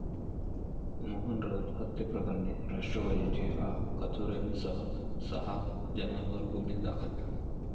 मोहन राऊत हत्येप्रकरणी राष्ट्रवादीचे आ.कथोरेंसह सहा जणांवर गुन्हे दाखल